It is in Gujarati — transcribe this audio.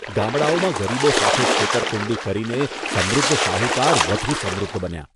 ગામડાઓમાં ગરીબો સાથે છેતરપિંડી કરીને સમૃદ્ધ શાહુકાર વધુ સમૃદ્ધ બન્યાં